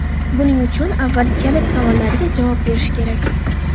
Buning uchun avval kalit savollarga javob berish kerak.